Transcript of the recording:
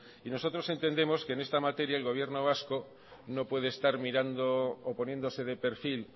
nosotros entendemos que en esta materia el gobierno vasco no puede estar mirando o poniéndose de perfil